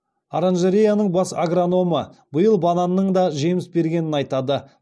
оранжереяның бас агрономы биыл бананның да жеміс бергенін айтады